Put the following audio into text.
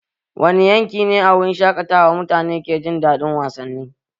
Wani yanki ne a wurin shaƙatawa mutane ke jin daɗin wasanni?